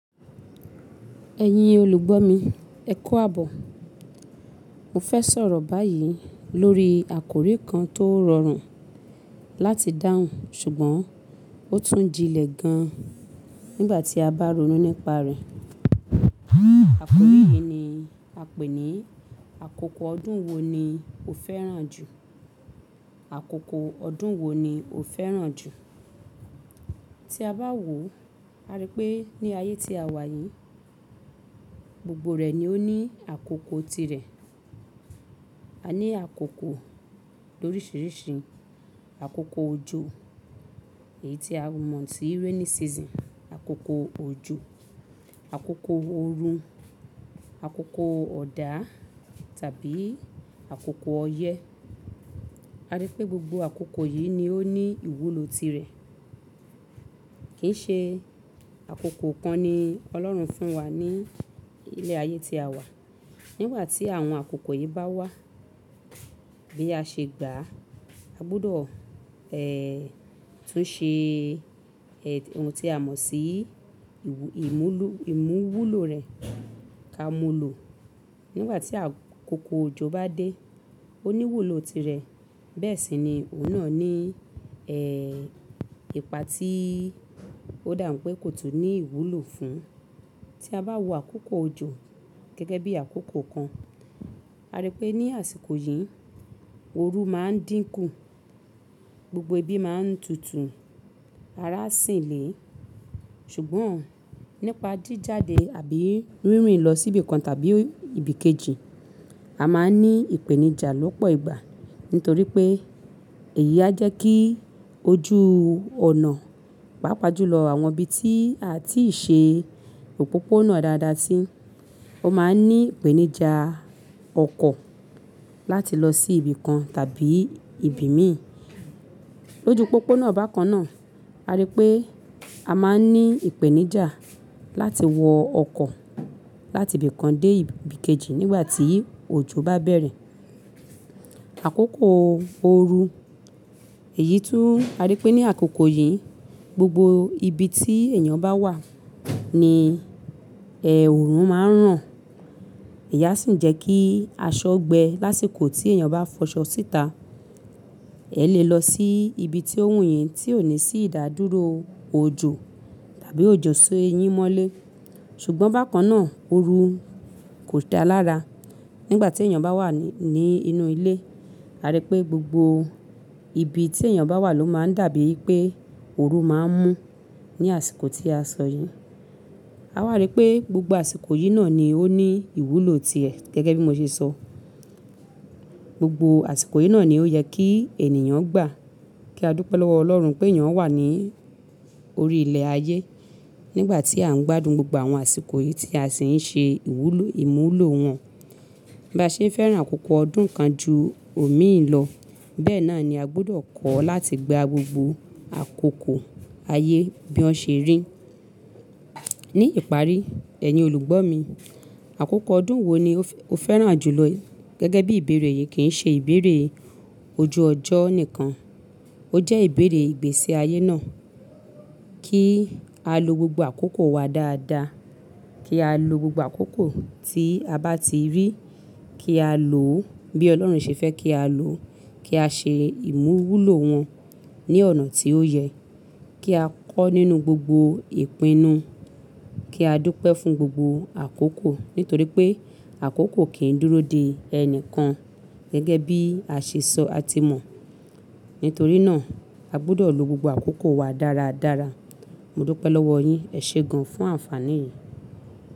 Ẹ̀yin olùgbọ́ mi, ẹ kú àbọ̀. Mo fẹ́ sọ̀rọ̀ báyìí lórí àkórí kan tó rọrùn láti dáhùn ṣùgbọ́n ó tún jinlẹ̀ gan nígbà tí a bá ronú nípa rẹ̀. Àkórí yìí ni a pè ní "Àkókò ọdún wo ni o fẹ́ràn jù?" Àkókò ọdún wo ni o fẹ́ràn jù? Tí a bá wò ó, a rí pé ní ayé tí a wà yìí, gbogbo rẹ̀ ni ó ní àkókò tirẹ̀. A ní àkókò lóríṣiríṣi, àkókò ojo, èyí tí a mọ̀ sí rainy season, àkókò ojú, àkókò ooru, àkókò ọ̀dà tàbí àkókò ọyẹ́. A rí pé gbogbo àkókò yìí ni ó ní ìwúlò tirẹ̀. Kì í ṣe àkókò kan ni Ọlọ́run fún wa ní ilẹ̀ ayé tí a wà. Nígbà tí àwọn àkókò yìí bá wà bí a ṣe gbà á, a gbọdọ̀ tún ṣe ohun tí a mọ̀ sí ìwú-- ìmúlú-- ìmúwúlò rẹ̀ ká mú lò. Nígbà tí àkókò ojo bá dé, ó ní ìwúlò tirẹ̀, bẹ́ẹ̀ sì ni òun náà ní ìpa tíi ó dàń pé kò tún ní ìwúlò fún. Tí a bá wo àkókò ojo gẹ́gẹ́ bí àkókò kan, a rí pé ní àsìkò yìí, ooru máa ń dínkù, gbogbo ibi máa ń tutù, ara ń sìn lé. Ṣùgbọ́n nípa jíjade àbí rìnrìn lọ sí ibìkan tàbí ibìkejì, a máa ní ìpèníjà lọ́pọ̀ ìgbà nítorí pé èyí á jẹ́ kí ojú ọ̀nà pàápàá jù lọ àwọn ibi tí a ti ṣe òpópónà dáadáa sí. Ó máa ní ìpèníjà ọkọ̀ láti lọ sí ibìkan tàbí ibi míì. Lójú pópónà bákan náà, a rí pé a máa ní ìpèníjà láti wọ ọkọ̀ láti ibìkan dé ibìkejì nígbà tí òjò bá bẹ̀rẹ̀. Àkókò ooru, èyí tún a rí pé ní àkókò yìí gbogbo ibi tí èèyàn bá wà ní òòrùn máa ń ràn. Ìyá sì ń jẹ́ kí aṣọ gbẹ lásìkò tí èèyàn bá fọṣọ síta. Ẹ lè lọ sí ibi tí ówùnyín tí ò ní sí ìdádúró ojo tàbí òjò só èyín mọ́lé. Ṣùgbọ́n bákan náà ooru kò dá lára. Nígbà tí èèyàn bá wà ní, ní inú ilé, a rí pé gbogbo ibi tí èèyàn bá wà ló máa ń dàbí pé ooru máa ń mú ní àsìkò tí a sọ yìí. A wà ri pé gbogbo àsìkò yìí náà ni ó ní ìwúlò tirẹ̀ gẹ́gẹ́ bí mo ṣe sọ. Gbogbo àsìkò yìí náà ni ó yẹ kí ènìyàn gbà kí a dúpẹ́ lọ́wọ́ Ọlọ́run pé ìyán wà ní orí ilẹ̀ ayé. Nígbà tí à ń gbádùn gbogbo àwọn àsìkò yìí tí a sì ń ṣe ìwúlò, ìmúwúlò wọn. Bá ṣe ń fẹ́ràn àkókò ọdún kan ju òmíì lọ, bẹ́ẹ̀ náà ni a gbọdọ̀ kọ́ láti gba gbogbo àkókò ayé bí wọ́n ṣe rí. Ní ìparí, ẹ̀yin olùgbọ́ mi, àkókò ọdún wo ni o fẹ́-- o fẹ́ràn jù lọ gẹ́gẹ́ bí ìbéèrè yìí kì í ṣe ìbéèrè ojú ọjọ́ nìkan, ó jẹ́ ìbéèrè ìgbésí ayé náà. Kí a lo gbogbo àkókò wa dáadáa, kí á lo gbogbo àkókò tí a bá ti rí kí á lò ó bí Ọlọ́run ṣe fẹ́ kí á lò ó, kí á ṣe ìmúwúlò wọn ní ọ̀nà tí ó yẹ, kí á kọ́ nínú gbogbo ìpinnu, kí á dúpẹ́ fún gbogbo àkókò nítorí pé àkókò kì í dúró de ẹni kan gẹ́gẹ́ bí àṣẹ sọ a ti mọ̀. Nítorí náà a gbọdọ̀ lo gbogbo àkókò wa dáradára. Mo dúpẹ́ lọ́wọ́ yín, ẹ ṣe gan fún àǹfàní yìí.